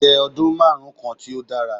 Je odun marun kan ti o dara